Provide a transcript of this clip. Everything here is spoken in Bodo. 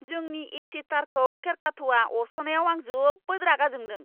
जोंनि ए.सि. तारखौ खेरखाथ'आ अरस'नायाव आं जोबोद रागा जोंदों।